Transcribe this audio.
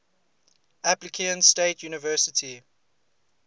appalachian state university